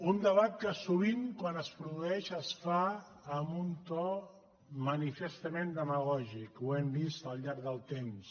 un debat que sovint quan es produeix es fa amb un to manifestament demagògic ho hem vist al llarg del temps